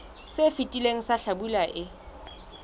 se fetileng sa hlabula e